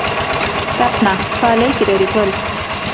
Hrefna, hvaða leikir eru í kvöld?